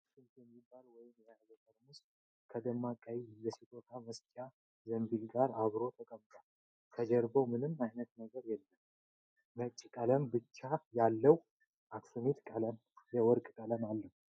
አክሱሚት የሚባል ወይን የያዘ ጠርሙስ ከደማቅ ቀይ የስጦታ መስጫ ዘንቢል ጋር አብሮ ተቀምጧል። ከጀርባ ምንም ዓይነት ነገር የለም ነጭ ቀለም ብቻ